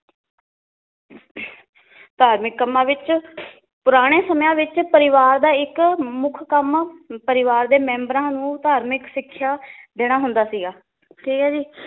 ਧਾਰਮਿਕ ਕੱਮਾਂ ਵਿੱਚ ਪੁਰਾਣੇ ਸਮਿਆਂ ਵਿਚ ਪਰਿਵਾਰ ਦਾ ਇੱਕ ਮੁੱਖ ਕੰਮ ਪਰਿਵਾਰ ਦੇ ਮੈਂਬਰਾਂ ਨੂੰ ਧਾਰਮਿਕ ਸਿੱਖਿਆ ਦੇਣਾ ਹੁੰਦਾ ਸੀਗਾ ਠੀਕ ਏ ਜੀ